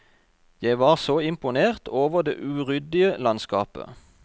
Jeg var så imponert over det uryddige landskapet.